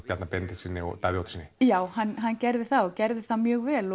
Bjarna Ben og Davíð Oddssyni já hann hann gerði það og gerði það mjög vel